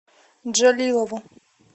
джалилову